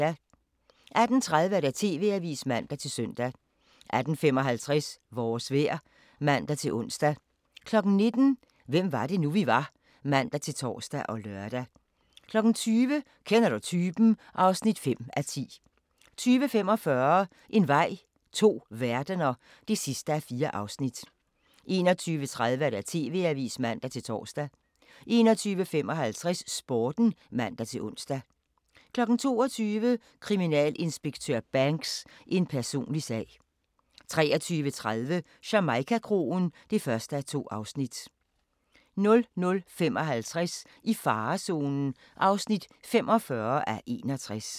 18:30: TV-avisen (man-søn) 18:55: Vores vejr (man-ons) 19:00: Hvem var det nu, vi var? (man-tor og lør) 20:00: Kender du typen? (5:10) 20:45: En vej – to verdener (4:4) 21:30: TV-avisen (man-tor) 21:55: Sporten (man-ons) 22:00: Kriminalinspektør Banks: En personlig sag 23:30: Jamaica-kroen (1:2) 00:55: I farezonen (45:61)